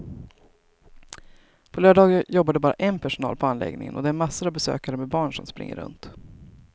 På lördagar jobbar det bara en personal på anläggningen och det är massor av besökare med barn som springer runt.